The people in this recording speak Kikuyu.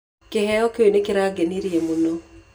Kĩheo kĩu nĩ kĩangenirie mũno.